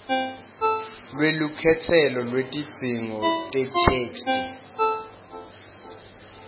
lwelukhetselo lwetidzingo tetheksthi